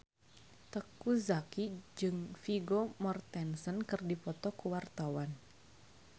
Teuku Zacky jeung Vigo Mortensen keur dipoto ku wartawan